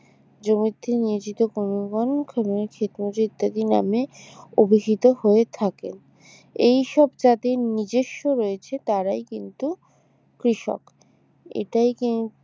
জমিতে নিয়োজিত কর্মবান শ্রমিক ক্ষেতমজুর ইত্যাদি নামে অভিহিত হয়ে থাকে এইসব যাদের নিজস্ব রয়েছে তারাই কিন্তু কৃষক এটাই কি